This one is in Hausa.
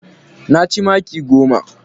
Na ci maki goma.